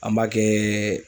An b'a kɛ